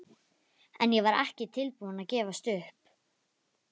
En ég var ekki tilbúin að gefast upp.